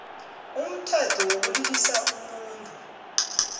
umthetho wokulilisa umuntu